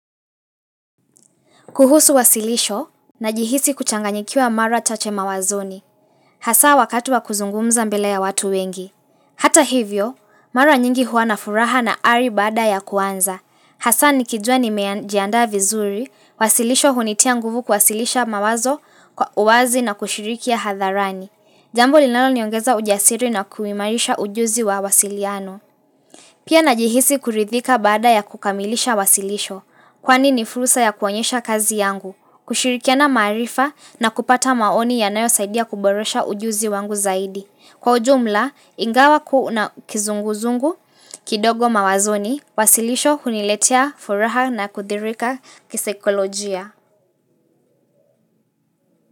Kuhusu wasilisho, najihisi kuchanganyikiwa mara chache mawazoni. Hasa, wakati wa kuzungumza mbele ya watu wengi. Hata hivyo, mara nyingi huwa na furaha na ari baada ya kuanza. Hasa nikijua nimejiandaa vizuri, wasilisho hunitia nguvu kuwasilisha mawazo, kwa uwazi na kushiriki hadharani. Jambo linaloniongeza ujasiri na kuimarisha ujuzi wa uwasiliano. Pia najihisi kuridhika bada ya kukamilisha wasilisho. Kwani ni fursa ya kuonyesha kazi yangu, kushirikiana maarifa na kupata maoni yanayosaidia kuboresha ujuzi wangu zaidi. Kwa ujumla, ingawa kuna kizunguzungu, kidogo mawazoni, wasilisho huniletea furaha na kudhirika kisaikolojia.